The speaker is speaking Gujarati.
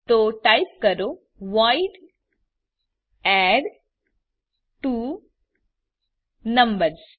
તો ટાઈપ કરો વોઇડ એડટ્વોનંબર્સ